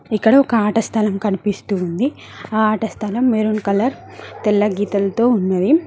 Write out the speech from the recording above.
ఇక్కడ ఒక ఆట స్థలం కనిపిస్తుంది ఆ ఆట స్థలం మెరూన్ కలర్ తెల్ల గీతాలతో ఉన్నది.